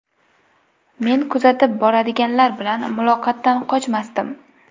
Meni kuzatib boradiganlar bilan muloqotdan qochmasdim.